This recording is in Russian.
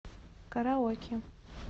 караоке